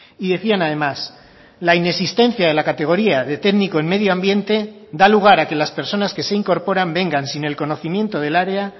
y decían además la inexistencia de la categoría de técnico en medioambiente da lugar a que las personas que se incorporan vengan sin el conocimiento del área